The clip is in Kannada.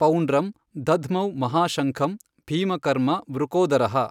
ಪೌಂಡ್ರಂ ದಧ್ಮೌ ಮಹಾಶಂಖಂ ಭೀಮಕರ್ಮಾ ವೃಕೋದರಃ।